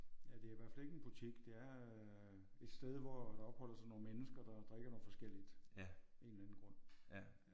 Ja det er i hvert fald ikke en butik det er et sted hvor der opholder sig nogle mennesker der drikker noget forskelligt. En eller anden grund